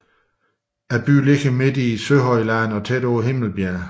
Byen ligger midt i Søhøjlandet og tæt på Himmelbjerget